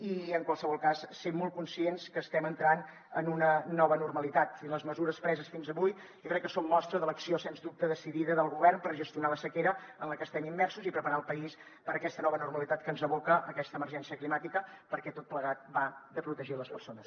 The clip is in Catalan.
i en qualsevol cas ser molt conscients que estem entrant en una nova normalitat i les mesures preses fins avui jo crec que són mostra de l’acció sens dubte decidida del govern per gestionar la sequera en la que estem immersos i preparar el país per a aquesta nova normalitat que ens aboca aquesta emergència climàtica perquè tot plegat va de protegir les persones